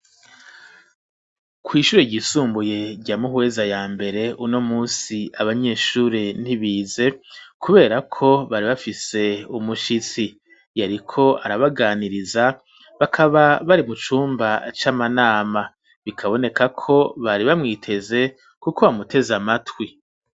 Kw'ishure ryisumbuye rya Muhweza ya mbere uno munsi abanyeshure ntibize ,kubera ko bari bafise umushitsi, yariko arabaganiriza bakaba bari mu cumba c'amanama ,bikaboneka ko bari bamwiteze kuko bamuteze amatwi.